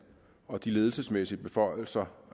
og de ledelsesmæssige beføjelser